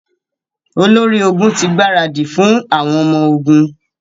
Olórí ogun ti gbaradì fún àwọn ọmọ ogun.